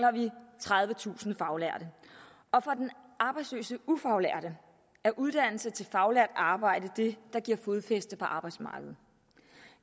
tredivetusind faglærte og for den arbejdsløse ufaglærte er uddannelse til faglært arbejde det der giver fodfæste på arbejdsmarkedet